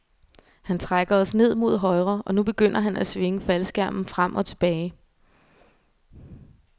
Han trækker os ned mod højre, og nu begynder han at svinge faldskærmen frem og tilbage.